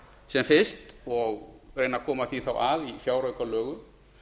sem fyrst og reyna að koma því þá að í fjáraukalögum